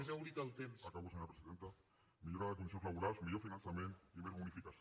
acabo senyora presidenta millora de condicions laborals millor finançament i més bonificació